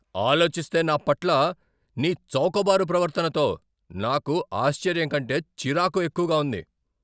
ఆలోచిస్తే, నా పట్ల నీ చౌకబారు ప్రవర్తనతో నాకు ఆశ్చర్యం కంటే చిరాకు ఎక్కువగా ఉంది.